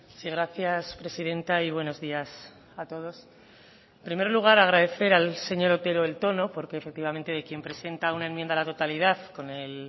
sí gracias presidenta y buenos días a todos en primer lugar agradecer al señor otero el tono porque efectivamente el que presenta una enmienda a la totalidad con el